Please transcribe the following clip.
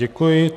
Děkuji.